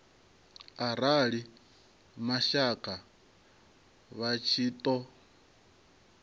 arali mashaka vha tshi ṱo